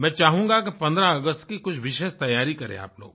मैं चाहूँगा कि 15 अगस्त की कुछ विशेष तैयारी करें आप लोग